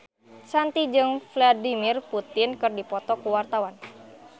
Shanti jeung Vladimir Putin keur dipoto ku wartawan